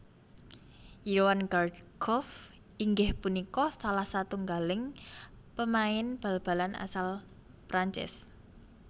Yoann Gourcuff inggih punika salah satunggaling pemain Bal balan asal Perancis